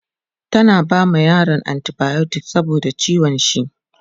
tana bama yaron anti biotics saboda ciwon shi